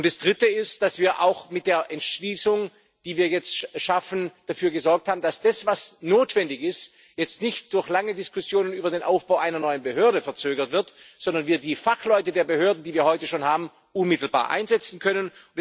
Das Dritte ist, dass wir auch mit der Entschließung, die wir jetzt schaffen, dafür gesorgt haben, dass das, was notwendig ist, jetzt nicht durch lange Diskussionen über den Aufbau einer neuen Behörde verzögert wird, sondern wir die Fachleute der Behörden, die wir heute schon haben, unmittelbar einsetzen können.